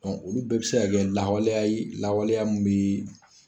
olu bɛɛ bɛ se ka kɛ lahawaleya lawaleya min bɛ